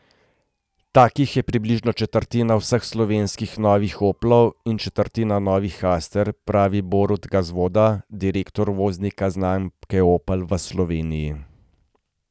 Takih je približno četrtina vseh slovenskih novih oplov in četrtina novih aster, pravi Borut Gazvoda, direktor uvoznika znamke Opel v Sloveniji.